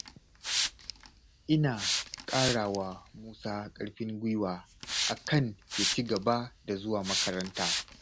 Ina ƙarawa Musa ƙarfin guiwa akan ya ci gaba da zuwa makaranta.